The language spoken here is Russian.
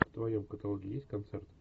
в твоем каталоге есть концерт